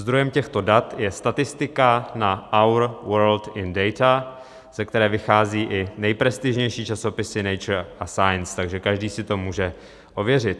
Zdrojem těchto dat je statistika na Our World In Data, ze které vychází i nejprestižnější časopisy Nature a Science, takže každý si to může ověřit.